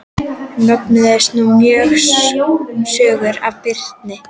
Mögnuðust nú mjög sögur af Birni.